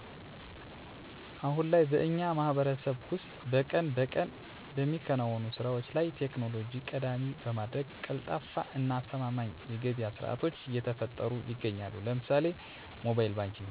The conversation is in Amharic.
አሁን ላይ በእኛ ማህበረሰብ ውስጥ ቀን በቀን በሚከናወኑ ስራዎች ላይ ቴክኖሎጂን ቀዳሚ በማድረግ ቀልጣፋ እና አስተማማኝ የገብያ ስርዓቶች እየተፈጠሩ ይገኛሉ። ለምሳሌ፦ ሞባይል ባንኪንግ